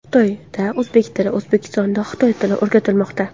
Xitoyda o‘zbek tili, O‘zbekistonda xitoy tili o‘rgatilmoqda.